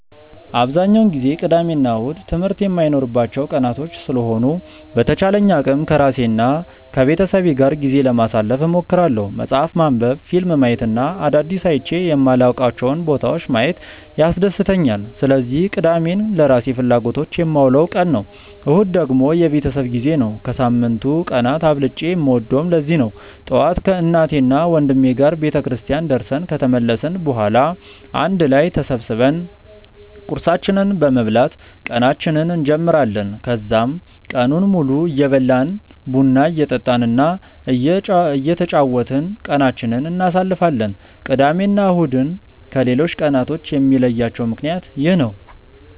አብዛኛውን ጊዜ ቅዳሜ እና እሁድ ትምህርት የማይኖርባቸው ቀናቶች ስለሆኑ በተቻለኝ አቅም ከራሴ እና ከቤተሰቤ ጋር ጊዜ ለማሳለፍ እሞክራለሁ። መፅሀፍ ማንበብ፣ ፊልም ማየት እና አዳዲስ አይቼ የማላውቃቸውን ቦታዎች ማየት ያስደስተኛል። ስለዚህ ቅዳሜን ለራሴ ፍላጎቶች የማውለው ቀን ነው። እሁድ ደግሞ የቤተሰብ ጊዜ ነው። ከሳምንቱ ቀናት አብልጬ የምወደውም ለዚህ ነው። ጠዋት ከእናቴና ወንድሜ ጋር ቤተክርስቲያን ደርሰን ከተመለስን በኋላ አንድ ላይ ተሰብስበን ቁርሳችንን በመብላት ቀናችንን እንጀምራለን። ከዛም ቀኑን ሙሉ እየበላን፣ ቡና እየጠጣን እና እየተጫወትን ቀናችንን እናሳልፋለን። ቅዳሜ እና እሁድን ከሌሎቹ ቀናቶች የሚለያቸው ምክንያት ይህ ነው።